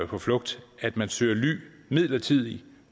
på flugt at man søger ly midlertidigt og